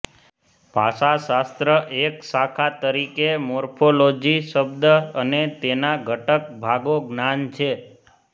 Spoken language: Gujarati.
ભાષાશાસ્ત્ર એક શાખા તરીકે મોર્ફોલોજી શબ્દ અને તેના ઘટક ભાગો જ્ઞાન છે